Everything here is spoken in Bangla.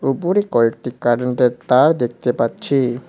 উপরে কয়েকটি কারেন্টের তার দেখতে পাচ্ছি।